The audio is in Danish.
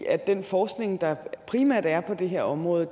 i at den forskning der primært er på det her område